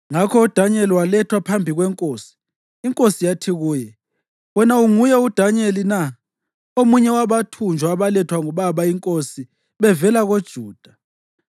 Ngakho uDanyeli walethwa phambi kwenkosi, inkosi yathi kuye, “Wena unguye uDanyeli na, omunye wabathunjwa abalethwa ngubaba inkosi bevela koJuda?